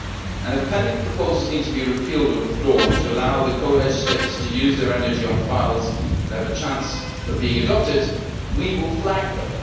And if pending proposals need to be repealed or withdrawn to allow the co legislators to use their energy on files that have a chance of being adopted, we will flag them.